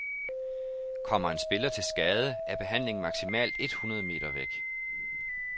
Kommer en spiller til skade, er behandlingen maksimalt et hundrede meter væk.